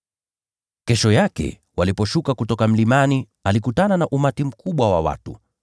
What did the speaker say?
Kesho yake waliposhuka kutoka mlimani, alikutana na umati mkubwa wa watu.